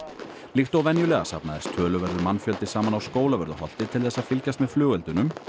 líkt og venjulega safnaðist töluverður mannfjöldi saman á Skólavörðuholti til þess að fylgjast með flugeldunum